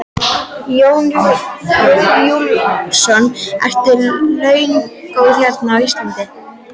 Jón Júlíus: Eru launin góð hérna á Íslandi?